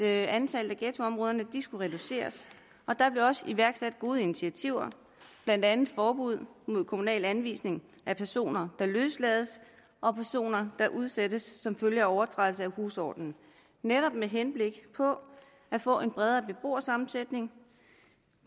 antallet af ghettoområder skulle reduceres der blev også iværksat gode initiativer blandt andet forbud mod kommunal anvisning af personer der løslades og personer der udsættes som følge af overtrædelse af husordenen netop med henblik på at få en bredere beboersammensætning